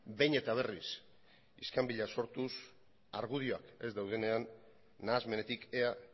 behin eta berriz iskanbila sortuz argudioak ez daudenean nahasmenetik ea